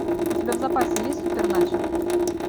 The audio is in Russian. у тебя в запасе есть суперначо